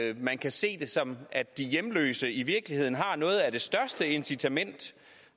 at man kan se det som at de hjemløse i virkeligheden har noget af det største incitament